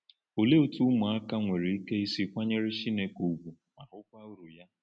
Olee otú ụmụaka nwere ike isi kwanyere Chineke ùgwù ma hụkwa uru ya?